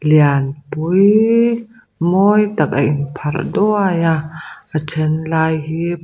lian pui mawi tak a in pharh duai a a then lai hi--